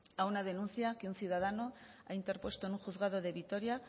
a una denuncia que un ciudadano ha interpuesto en un juzgado de vitoria